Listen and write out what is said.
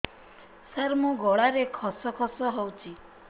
ସାର ମୋ ଗଳାରେ ଖସ ଖସ ହଉଚି